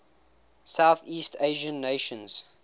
southeast asian nations